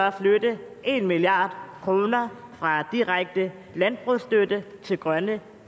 at flytte en milliard kroner fra direkte landbrugsstøtte til grønne